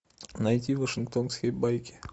найти вашингтонские байки